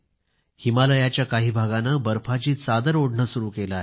हिमालयाच्या काही भागाने बर्फाची चादर ओढणे सुरू केलं आहे